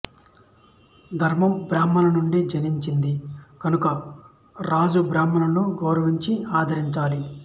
ధర్మం బ్రాహ్మణుల నుండి జనించింది కనుక రాజు బ్రాహ్మణులను గౌరవించి ఆదరించాలి